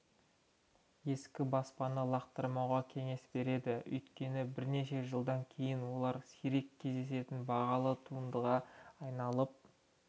ескі баспаны лақтырмауға кеңес береді өйткені бірнеше жылдан кейін олар сирек кездесетін бағалы туындыға айналып